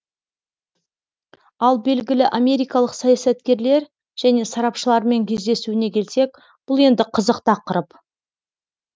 ал белгілі америкалық саясаткерлер және сарапшылармен кездесуіне келсек бұл енді қызық тақырып